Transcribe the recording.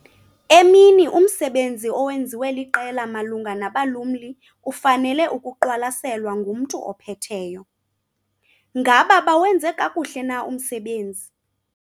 Emini umsebenzi owenziwe liqela malunga nabalumli ufanele ukuqwalaselwa ngumntu ophetheyo - ngaba bawenze kakuhle na umsebenzi?